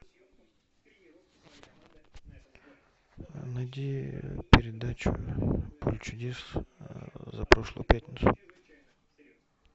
найди передачу поле чудес за прошлую пятницу